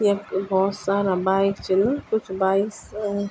यख बहौत सारा बाइक छिन कुछ बाइक्स अ --